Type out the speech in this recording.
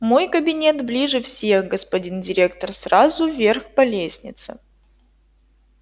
мой кабинет ближе всех господин директор сразу вверх по лестнице